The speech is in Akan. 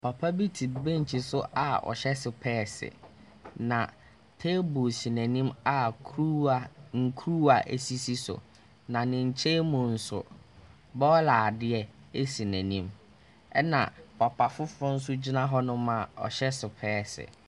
Papa bi te bench so a ɔhyɛ sopɛɛse, na table si n'anim a kuruwa Nkuruwa sisi so. Na ne nkyɛn mu nso, bɔɔla adeɛ si n'anim, ɛna papa foforɔ nso gyina hɔnom a ɔhyɛ sopɛɛse.